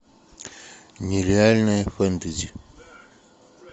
нереальное фэнтези